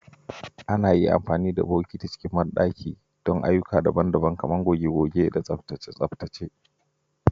Ana iya amfani da bokiti don ayyuka daban-daban a cikin bandaki, kamar goge-goge ko tsaftace-tsaftace.